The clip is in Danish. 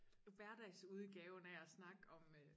Hverdagsudgaven af at snakke om øh